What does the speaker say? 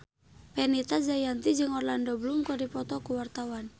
Fenita Jayanti jeung Orlando Bloom keur dipoto ku wartawan